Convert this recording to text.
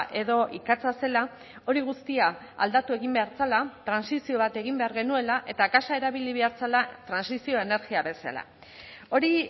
edo ikatza zela hori guztia aldatu egin behar zela trantsizio bat egin behar genuela eta gasa erabili behar zela trantsizio energia bezala hori